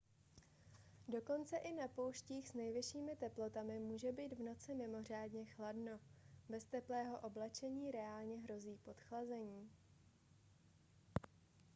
dokonce i na pouštích s nejvyššími teplotami může být v noci mimořádně chladno bez teplého oblečení reálně hrozí podchlazení